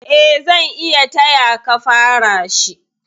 Eh, zan iya tayaka fara shi.